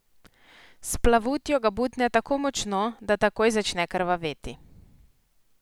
S plavutjo ga butne tako močno, da takoj začne krvaveti.